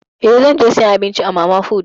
Eh, zan je sayan abinci a mana put ne.